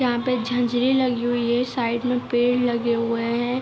यहां पे झांझरे लगी हुई हैसाईड में पेड़ लगे हुए हैं।